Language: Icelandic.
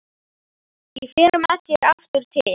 Ég fer með þér aftur til